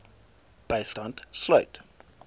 bystand sluit